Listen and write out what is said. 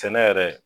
Sɛnɛ yɛrɛ